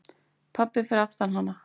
Pabbi fyrir aftan hana: